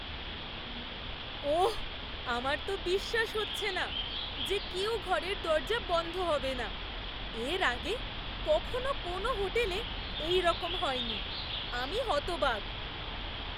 ওহ্, আমার তো বিশ্বাস হচ্ছে না যে কেউ ঘরের দরজা বন্ধ হবে না! এর আগে কখনো কোনো হোটেলে এইরকম হয়নি। আমি হতবাক!